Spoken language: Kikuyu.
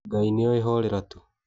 Ngai nĩoĩ horera tu.